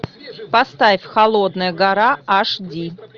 поставь холодная гора аш ди